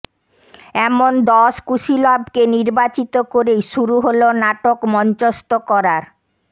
এমন দশ কুশীলবকে নির্বাচিত করেই শুরু হল নাটক মঞ্চস্থ করার